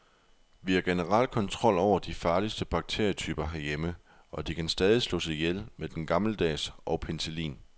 Vi har generelt kontrol over de farligste bakterietyper herhjemme, og de kan stadig slås ihjel med den gammeldags og penicillin.